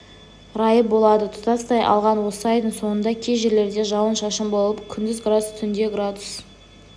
райы болады тұтастай алғанда осы айдың соңында кей жерлерде жауын-жашын болып күндіз градус түнде градус